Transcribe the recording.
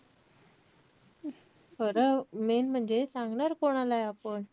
खरं main म्हणजे सांगणार कोणालाय आपण?